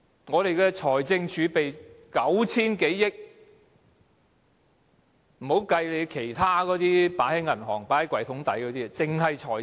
我們的財政儲備有 9,000 多億元，還未計算其他放在銀行、抽屉底的錢。